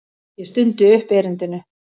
Ég stundi upp erindinu.